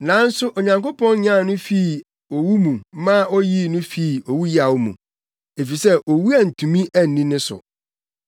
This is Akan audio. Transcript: Nanso Onyankopɔn nyan no fii owu mu ma oyii no fii owuyaw mu, efisɛ owu antumi anni ne so.”